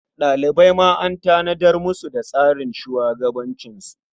Ɗalibai ma an tanadar musu da tsarin shugabancinsu.